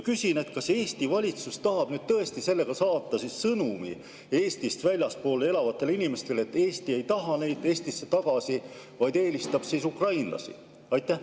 Küsin: kas Eesti valitsus tahab tõesti saata sellega sõnumi Eestist väljaspool elavatele inimestele, et Eesti ei taha neid Eestisse tagasi, vaid eelistab ukrainlasi?